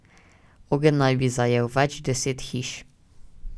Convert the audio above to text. Ogenj naj bi zajel več deset hiš.